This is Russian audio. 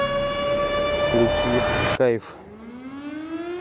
включи кайф